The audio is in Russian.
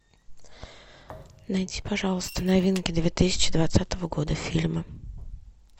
найди пожалуйста новинки две тысячи двадцатого года фильмы